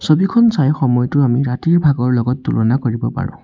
ছবিখন চাই সময়টো আমি ৰাতিৰ ভাগৰ লগত তুলনা কৰিব পাৰোঁ।